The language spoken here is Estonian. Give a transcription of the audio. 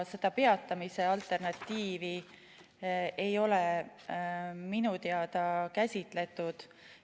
Seda peatamise alternatiivi ei ole minu teada käsitletud.